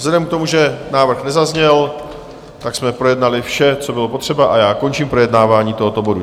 Vzhledem k tomu, že návrh nezazněl, tak jsme projednali vše, co bylo potřeba, a já končím projednávání tohoto bodu.